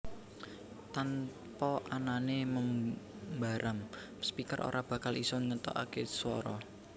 Tanpa anané membaram speaker ora bakal isa ngetokaké suwara